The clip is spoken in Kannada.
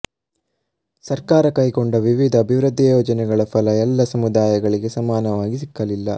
ಸರ್ಕಾರ ಕೈಗೊಂಡ ವಿವಿಧ ಅಭಿವೃದ್ಧಿ ಯೋಜನೆಗಳ ಫಲ ಎಲ್ಲ ಸಮುದಾಯಗಳಿಗೂ ಸಮಾನವಾಗಿ ಸಿಕ್ಕಲಿಲ್ಲ